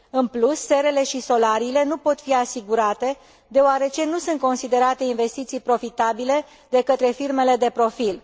În plus, serele și solariile nu pot fi asigurate, deoarece nu sunt considerate investiții profitabile de către firmele de profil.